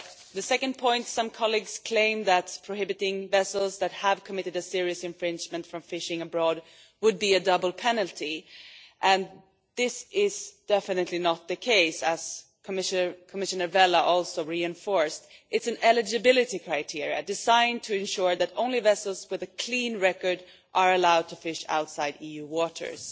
The second point is that some colleagues claim that prohibiting vessels that have committed a serious infringement from fishing abroad would be a double penalty, and this is definitely not the case, as Commissioner Vella also stressed. It is an eligibility criterion designed to ensure that only vessels with a clean record are allowed to fish outside EU waters.